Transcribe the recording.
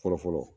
Fɔlɔ fɔlɔ